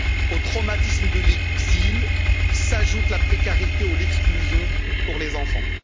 Au traumatisme de l'exil, s'ajoute la précarité ou l'exclusion pour les enfants.